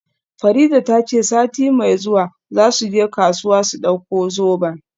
Farida ta ce sati mai zuwa za su je kasuwa su dauko zoben.